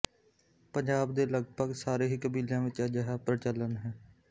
ਪੰਜਾਬ ਦੇ ਲਗਭਗ ਸਾਰੇ ਹੀ ਕਬੀਲਿਆਂ ਵਿੱਚ ਅਜਿਹਾ ਪ੍ਰਚਲਨ ਹੈ